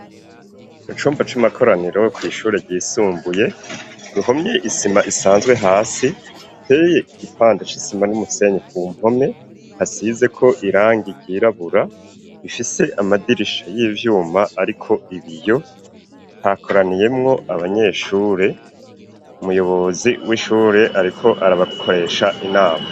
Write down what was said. Mu cumba c'amakoraniro, kw' ishure ryisumbuye ruhomye isima isanzwe ,hasi hateye igipande c'isima n'umusenyi, ku mpome hasize ko irangi ryirabura ,ifise amadirisha y'ivyuma hariko ibiyo, hakoraniyemwo abanyeshure ,umuyobozi w'ishure ariko arabakoresha inama.